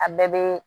A bɛɛ bɛ